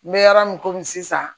N bɛ yɔrɔ min komi sisan